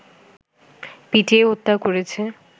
পিটিয়ে হত্যা করেছে